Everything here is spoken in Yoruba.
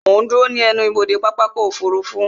Mo ń dúró ní ẹnubodè pápákọ̀ ọkọ̀ òfurufú